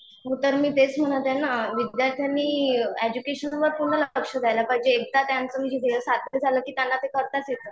हो तर मी तेच म्हणत आहे ना, विद्यार्थ्यांनी एडज्युकेशन वर पूर्ण लक्ष द्यायला पाहिजे एकदा त्यांचं म्हणजे वेळ सार्थक झालं की त्यांना ते करताच येतं.